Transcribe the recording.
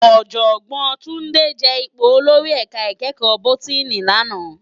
Òjògbòn Tunde je ipó ólórì èká ikèékò bótìní làná